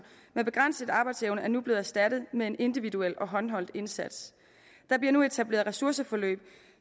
med begrænset arbejdsevne er nu blevet erstattet med en individuel og håndholdt indsats der bliver nu etableret ressourceforløb